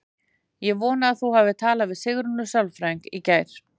Ég vona að þú hafir talað við Sigrúnu sálfræðing í gær.